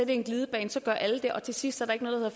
en glidebane så gør alle det og til sidst er der ikke noget der